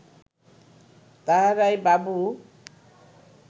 তাঁহারাই বাবু